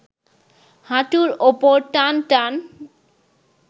হাঁটুর ওপর টানটান